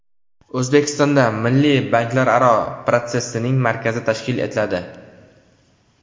O‘zbekistonda Milliy banklararo protsessing markazi tashkil etiladi.